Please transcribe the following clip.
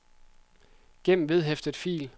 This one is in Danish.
gem vedhæftet fil